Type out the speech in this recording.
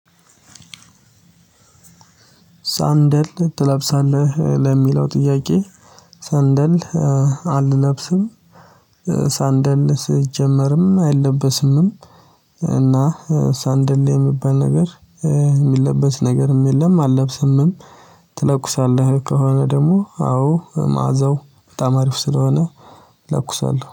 ሳንደል ትለብሳለህ? ለሚለው ጥያቄ ሰንደል አልለብስም ሰንደል ስትጀምርም አይለበስምም እና ሰንደሌ የሚባል ነገር የሚለበስ ነገርም የለም አልለብስምም ትለኩሳለህ ከሆነ ደግሞ አዎ መዓዛው በጣም አሪፍ ስለሆነ እለኩሳለሁ።